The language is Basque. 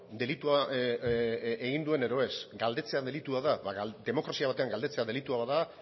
delitua egin duen edo ez galdetzea delitua da ba demokrazia batean galdetzea delitua bada